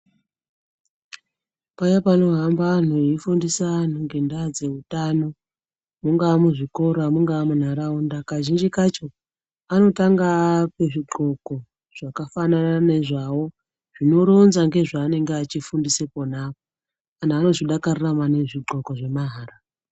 Paya panohamba anhu veifundisa anu nge ndaa dzeutano munga muzvikora mungaa munharaunda kazhinji kacho anotanga aape zvi dhloko zvakafanana nezvawo zvinoronza nezvanenge achifundise ponapo anhu anozvifarira maningi zvidhloko zvemahara